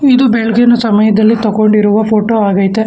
ಇದು ಬೆಳ್ಗಿನ ಸಮಯದಲ್ಲಿ ತಗೊಂಡಿರುವ ಫೋಟೋ ಅಗ್ಯಾತೆ.